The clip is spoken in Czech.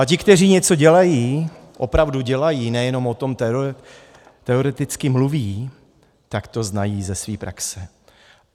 A ti, kteří něco dělají, opravdu dělají, nejenom o tom teoreticky mluví, tak to znají ze své praxe.